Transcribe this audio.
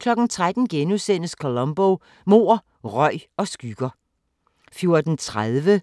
13:00: Columbo: Mord, røg og skygger *